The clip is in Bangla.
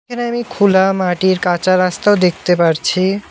এখানে আমি খুলা মাটির কাঁচা রাস্তাও দেখতে পারছি।